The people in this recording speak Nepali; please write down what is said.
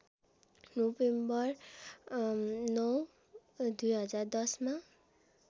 नोभेम्बर ९ २०१० मा